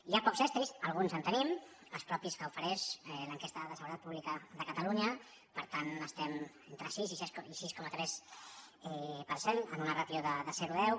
hi ha pocs estris alguns en tenim els propis que ofereix l’enquesta de seguretat pública de catalunya per tant estem entre sis i sis coma tres per cent en una ràtio de zero a deu